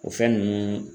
O fɛn nunnu